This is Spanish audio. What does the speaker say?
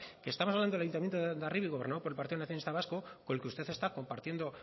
que estamos hablando del ayuntamiento de hondarribia gobernado por el partido nacionalista vasco con el que usted está compartiendo